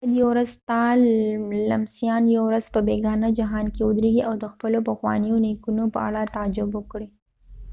شاید یو ورځ ستا لمسیان یو ورځ په بیګانه جهان کې ودرېږي او د خپلو پخوانیو نیکونو په اړه تعجب وکړي